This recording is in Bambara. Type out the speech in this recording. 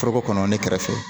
Foroko kɔnɔ ne kɛrɛfɛ